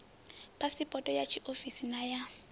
phasipoto ya tshiofisi na ya